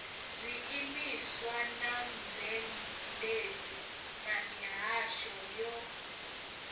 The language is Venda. zwiimiswa mazhendedzi na mihasho yo